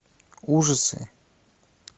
ужасы